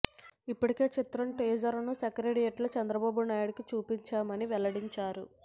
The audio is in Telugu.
ఇప్పటికే చిత్రం టీజర్ ను సెక్రటేరియేట్ లో చంద్రబాబు నాయుడికి చూపించామని వెల్లడించారు